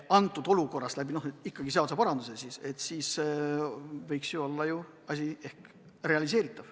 Aga seda saab teha ikkagi seadusparanduste abil, siis võiks see olla realiseeritav.